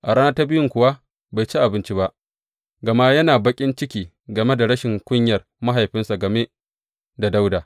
A rana ta biyun kuwa bai ci abinci ba, gama yana baƙin ciki game da rashin kunyar mahaifinsa game da Dawuda.